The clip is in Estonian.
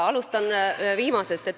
Alustan viimasest.